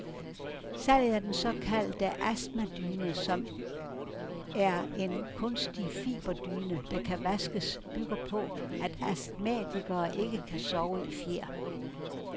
Salget af den såkaldte astmadyne, som er en kunstig fiberdyne, der kan vaskes, bygger på, at astmatikere ikke kan sove i fjer.